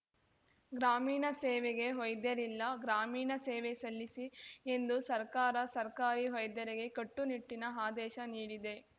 ಗ್ರಾಮೀಣ ಸೇವೆಗೆ ವೈದ್ಯರಿಲ್ಲ ಗ್ರಾಮೀಣ ಸೇವೆ ಸಲ್ಲಿಸಿ ಎಂದು ಸರ್ಕಾರ ಸರ್ಕಾರಿ ವೈದ್ಯರಿಗೆ ಕಟ್ಟುನಿಟ್ಟಿನ ಆದೇಶ ನೀಡಿದೆ